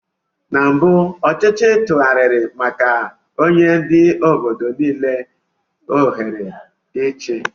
Na mbụ ọchịchị tụgharịrị maka nye ndị obodo niile ohere ị chia.